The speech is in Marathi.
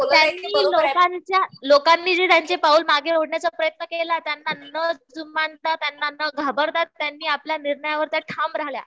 त्यांनी लोकांच्या, लोकांनी जे त्यांचे पाऊल मागे ओढण्याचा प्रयत्न केला त्यांना न जुमानता न घाबरता त्यानी आपल्या निर्णयावर त्या ठाम राहिल्या.